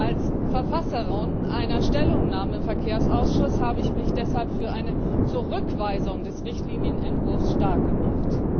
Als Verfasserin einer Stellungnahme im Verkehrsausschuss habe ich mich deshalb für eine Zurückweisung des Richtlinienentwurfs starkgemacht.